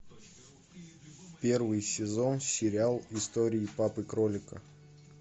первый сезон сериал истории папы кролика